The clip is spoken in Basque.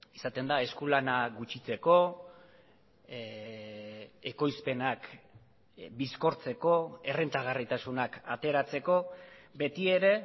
izaten da eskulana gutxitzeko ekoizpenak bizkortzeko errentagarritasunak ateratzeko beti ere